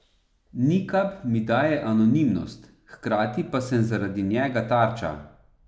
Nikab mi daje anonimnost, hkrati pa sem zaradi njega tarča.